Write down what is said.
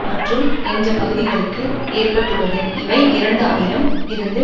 மற்றும் என்ற பகுதிகளுக்கு ஏற்பட்டுள்ளது இவை இரண்டு ஆயிரம் இருந்து